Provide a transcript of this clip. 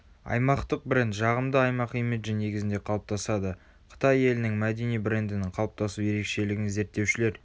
аймақтық бренд жағымды аймақ имиджі негізінде қалыптасады.қытай елінің мәдени брендінің қалыптасу ерекшелігін зерттеушілер